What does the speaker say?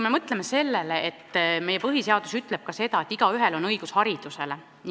Mõelgem sellele, et meie põhiseadus ütleb ka seda, et igaühel on õigus haridusele!